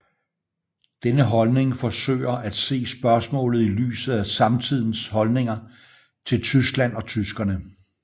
Denne holdning forsøger at se spørgsmålet i lyset af samtidens holdninger til Tyskland og tyskerne